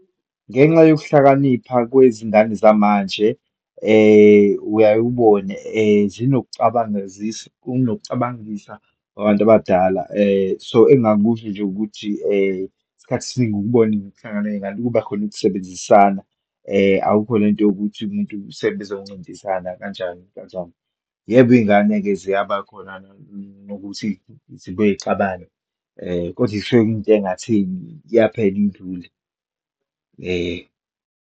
Ngenxa yokuhlakanipha kwezingane zamanje, uyaye ubone zinokucabangizisa, kunokucabangisa kwabantu abadala. So, engingakusho nje ukuthi, isikhathi esiningi ukubone ukuhlangana kweyingane kuba khona ukusebenzisana, akukho lento yokuthi umuntu sebezoncintisana kanjani kanjani. Yebo, iyingane-ke ziyabakhona nokuthi zibuye yixabane kodwa kusuke kuyinto engatheni, iyaphela indlule, .